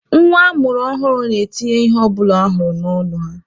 Nwa a mụrụ ọhụrụ na-etinye ihe ọbụla ha hụrụ n'ọnụ ha.